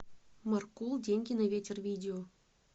маркул деньги на ветер видео